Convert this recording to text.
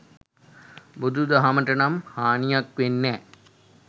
බුදු දහමටනම් හානියක් වෙන්නෑ.